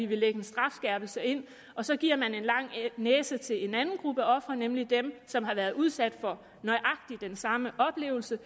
vil lægge en strafskærpelse ind og så giver man en lang næse til en anden gruppe ofre nemlig dem som har været udsat for nøjagtig den samme oplevelse